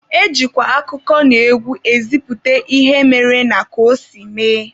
E jikwa akụkọnaegwu ezipụta ihe mere na ka o si mee.